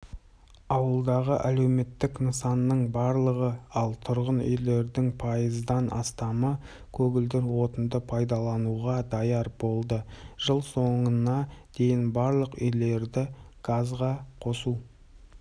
ауылдағы әлеуметтік нысанның барлығы ал тұрғын үйлердің пайыздан астамы көгілдір отынды пайдалануға даяр болды жыл соңына дейін барлық үйлерді газға қосу